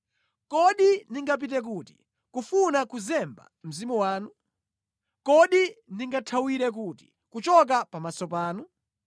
Kodi ndingapite kuti kufuna kuzemba Mzimu wanu? Kodi ndingathawire kuti kuchoka pamaso panu?